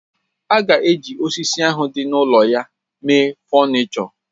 A ga-eji osisi ahụ dị n'ụlọ ya mee fọnịchọ